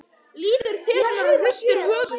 Lítur til hennar og hristir höfuðið.